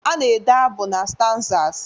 A na-ede abụ na stanzas